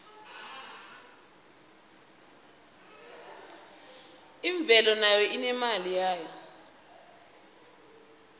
imvelo nayo inemali yayo